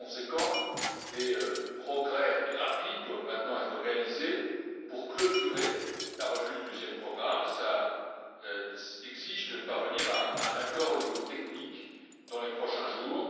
Par conséquent, des progrès rapides doivent maintenant être réalisés pour clôturer la revue du deuxième programme. Cela exige de parvenir à un accord au niveau technique dans les prochains jours.